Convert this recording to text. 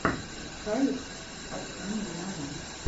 халех адхами нава